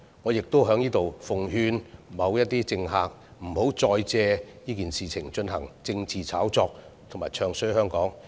我亦在此奉勸某些政客，不要再借這件事進行政治炒作，詆毀香港。